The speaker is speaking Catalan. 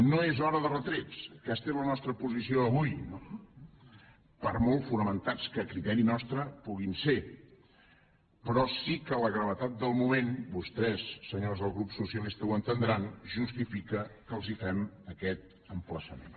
no és hora de retrets aquesta era la nostra posició d’avui no per molt fonamentats que a criteri nostre puguin ser però sí que la gravetat del moment vostès senyors del grup socialista ho entendran justifica que els fem aquest emplaçament